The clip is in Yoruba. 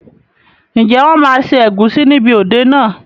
Ǹjẹ́ wọn máa ṣe ẹ̀gúsí níbi òde náà?